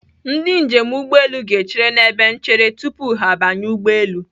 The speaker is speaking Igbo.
Ndị njem ụgbọelu ga-echere n'ebe nchere tupu ha abanye ụgbọelu.